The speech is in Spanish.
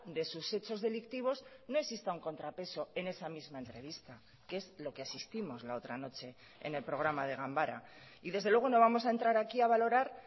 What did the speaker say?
de sus hechos delictivos no exista un contrapeso en esa misma entrevista que es lo que asistimos la otra noche en el programa de ganbara y desde luego no vamos a entrar aquí a valorar